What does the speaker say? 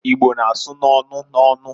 Igbo na-asụ n'onu n'onu.